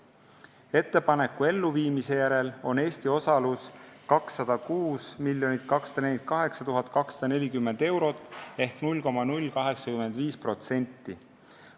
Ettepaneku elluviimise järel on Eesti osalus 206 248 240 eurot ehk 0,085%.